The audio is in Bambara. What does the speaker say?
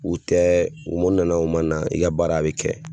U tɛ u nana o man na i ka baara a bɛ kɛ.